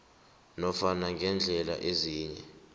nofana ngeendlela ezinye